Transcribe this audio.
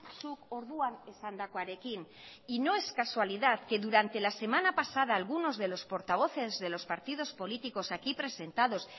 zuk orduan esandakoarekin y no es casualidad que durante la semana pasada algunos de los portavoces de los partidos políticos aquí presentados